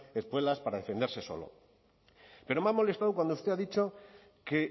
espuelas para defenderse solo pero me ha molestado cuando usted ha dicho que